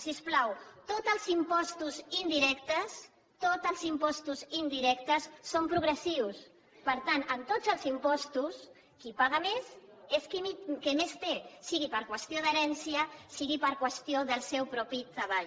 sisplau tots els impostos indirectes són progressius per tant en tots els impostos qui paga més és qui més té sigui per qüestió d’herència sigui per qüestió del seu propi treball